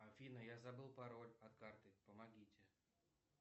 афина я забыл пароль от карты помогите